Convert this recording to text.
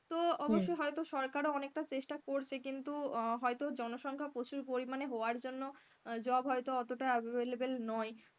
তো অবশ্য হয়তো সরকারও অনেকটা চেষ্টা করছে কিন্তু আহ হয়তো জনসংখ্যা প্রচুর পরিমাণে হওয়ার জন্য job হয়তো অতটা available নয়,